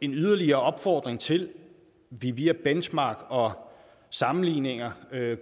en yderligere opfordring til at vi via benchmark og sammenligninger af